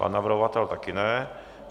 Pan navrhovatel také ne.